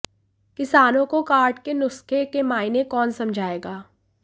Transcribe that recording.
किसानों को कार्ड के नुस्खे के मायने कौन समझाएगा